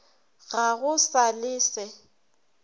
ga go sa le se